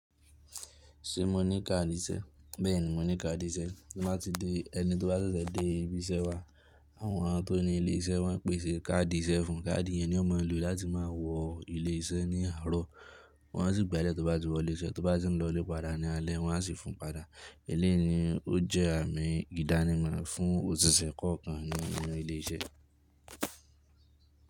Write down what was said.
Ṣé mo ní káàdì iṣẹ́? Bẹ́ẹ̀ni mo ní káàdì iṣẹ́. Tí mo bá ti dé, ẹni tí ó bá ṣẹ̀ṣẹ̀ dé ibi iṣẹ́ wa, àwọn tó ni ilé iṣẹ́ máa n pèsè káàdì iṣẹ́ fún. Kaadi yẹn ni ó máa ń lò láti máa wọ ilé iṣẹ́ ní àárọ̀. Wọ́n á sì gba ẹ́ lẹ̀ tó bá ti wọlé iṣẹ́. Tó bá ti ń lọlé padà ní alẹ́, wọ́n á sì fún padà. Eléyìí ni ó jẹ́ àmì ìdánimọ̀ fún òṣìṣẹ́ kọ̀ọ̀kan nínu ilé iṣẹ́.